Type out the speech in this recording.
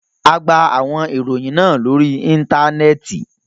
A gba awọn iroyin naa lori Intanẹẹti